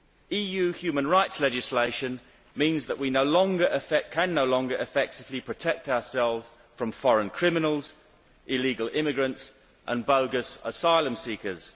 EU human rights legislation means that we can no longer effectively protect ourselves from foreign criminals, illegal immigrants and bogus asylum seekers.